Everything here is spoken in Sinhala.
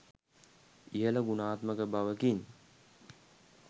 ඉහල ගුණාත්මක බවකින්